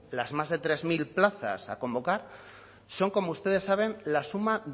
las más de tres mil plazas a convocar son como ustedes saben la suma